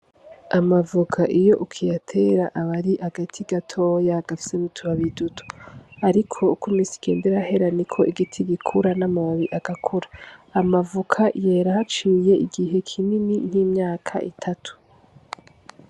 Amavoka iyo hageze ko uyatera aba ari agati gatoya gafise n’utubabi duto ariko uko imizi igebda irahera Niko igiti gikura n’amababi agakura. Amavoka yera haciye igihe kinini nk’imyaka itatu.